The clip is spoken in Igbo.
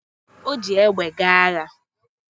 O ji egbe gaa agha